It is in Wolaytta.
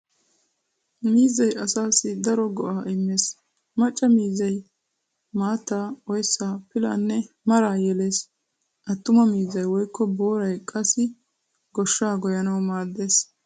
Miizzay asaassi daro go'aa immees:- macca miizzay maattaa , oyssaa , pilaanne maraa yelees. Attuma miizzay woykko booray qassi goshshaa goyyanawu maaddes.